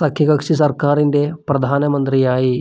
സഖ്യകക്ഷി സർക്കാരിന്റെ പ്രധാനമന്ത്രിയായി.